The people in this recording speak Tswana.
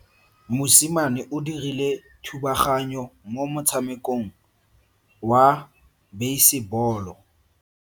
Mosimane o dirile thubaganyo mo motshamekong wa basebolo.